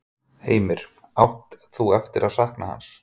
Heimir: Átt þú eftir að sakna hans?